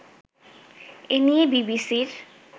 এ নিয়ে বিবিসির